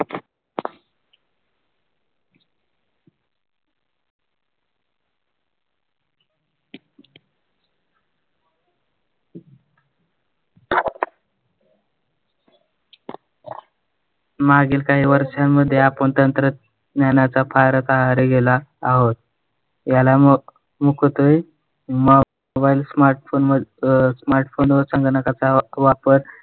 मागील काही वर्षामध्ये आपण तंत्रज्ञानाचा फारच आहारी गेलो आहोत. ह्याला mobile smartphone smartphone वर संगणकाचा वापर,